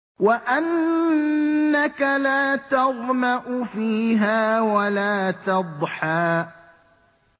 وَأَنَّكَ لَا تَظْمَأُ فِيهَا وَلَا تَضْحَىٰ